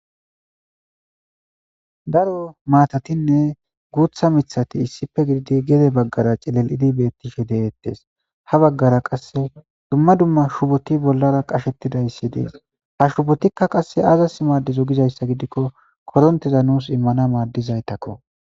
daro maatatinne guutha mithati issife gididi gede baggara celel'idi bettishe de'ettes ha baggara qasse dumma dumma shuboti bollara qashettidayssi dees ha shubotikka qasse aazas maaddizo gizayssa gidikko korontiza nuus immana maaddizaytakko